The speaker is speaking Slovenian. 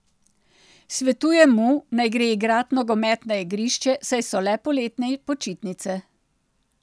Svetujem mu, naj gre igrat nogomet na igrišče, saj so le poletne počitnice.